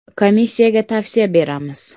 Komissiyaga tavsiya beramiz.